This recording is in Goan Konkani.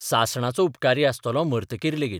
सासणाचो उपकारी आसतलों मरतकीर लेगीत